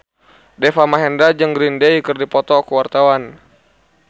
Deva Mahendra jeung Green Day keur dipoto ku wartawan